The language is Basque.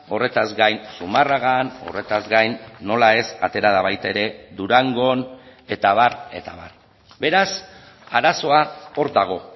horretaz gain zumarragan horretaz gain nola ez atera da baita ere durangon eta abar eta abar beraz arazoa hor dago